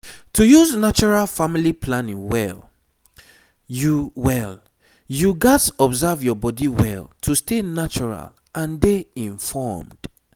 to use natural family planning well you well you gats observe your body well to stay natural and dey informed